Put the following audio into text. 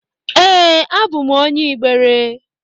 Ee, abụ m onye Igbere.